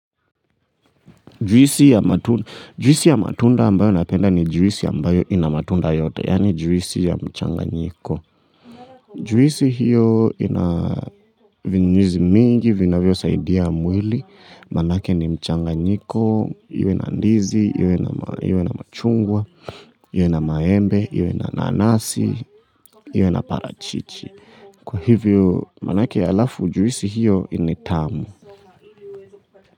Juisi ya matunda ambayo napenda ni juisi ambayo ina matunda yote, yani juisi ya mchanganyiko. Juisi hiyo ina vinyuzi vingi, vinavyosaidia mwili, maana ni mchanganyiko, iwe na ndizi, iwe na machungwa, iwe na maembe, iwe na nanasi, iwe na parachichi. Kwa hivyo, maanake alafu juisi hiyo ni tamu.